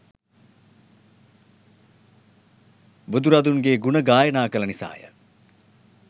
බුදුරදුන්ගේ ගුණ ගායනා කළ නිසා ය.